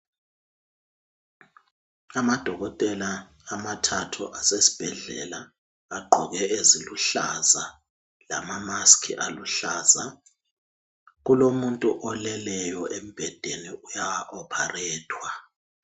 Amadokotela amathathu asesibhedlela agqoke eziluhlaza lama"mask" aluhlaza. Kulomuntu oleleyo embhedeni uya opharethwa.